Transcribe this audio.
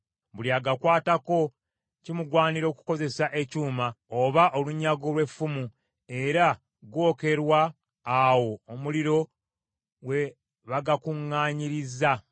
Buli agakwatako kimugwanira okukozesa ekyuma oba olunyago lw’effumu, era gookerwa awo omuliro we bagakuŋŋaanyirizza.”